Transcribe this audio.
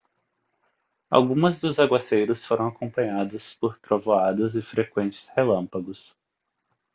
algumas dos aguaceiros foram acompanhados por trovoadas e frequentes relâmpagos